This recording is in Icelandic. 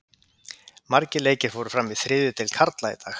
Margir leikir fóru fram í þriðju deild karla í dag.